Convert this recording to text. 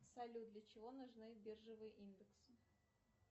салют для чего нужны биржевые индексы